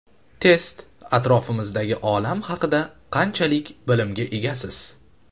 Test: Atrofimizdagi olam haqida qanchalik bilimga egasiz?.